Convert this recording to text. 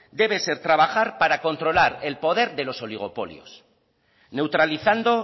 debe ser trabajar para controlar el poder de los oligopolios neutralizando